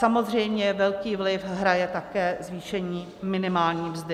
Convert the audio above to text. Samozřejmě velký vliv hraje také zvýšení minimální mzdy.